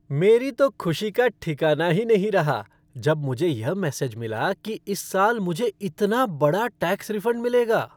मेरी तो खुशी का ठिकाना ही नहीं रहा जब मुझे यह मैसेज मिला कि इस साल मुझे इतना बड़ा टैक्स रिफ़ंड मिलेगा।